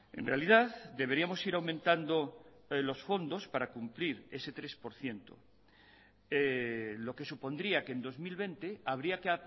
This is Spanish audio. en realidad deberíamos ir aumentando los fondos para cumplir ese tres por ciento lo que supondría que en dos mil veinte habría que